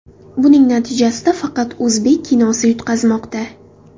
Buning natijasida faqat o‘zbek kinosi yutqazmoqda.